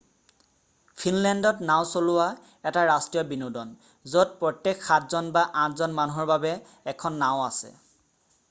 ফিনলেণ্ডত নাওঁ চলোৱা এটা ৰাষ্ট্ৰীয় বিনোদন য'ত প্ৰত্যেক সাতজন বা আঠজন মানুহৰ বাবে এখন নাওঁ আছে